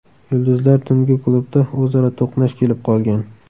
Yulduzlar tungi klubda o‘zaro to‘qnash kelib qolgan.